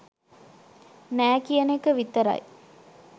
නෑ කියන එක විතරයි.